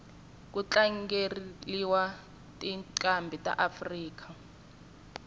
kutlangeliwa tincambi taafrika